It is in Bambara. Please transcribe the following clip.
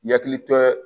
Yakili tɛ